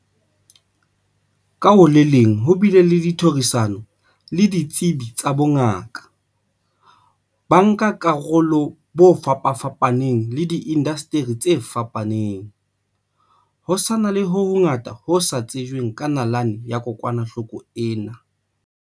Ka ho le leng ho bile le ditherisano le ditsebi tsa bongaka, bankakarolo ba fapafapaneng le diindaseteri tse fapaneng. Ho sa na le ho hongata ho sa tsejweng ka nalane ya kokwanahloko ena.